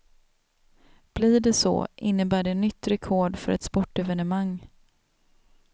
Blir det så, innebär det nytt rekord för ett sportevenemang.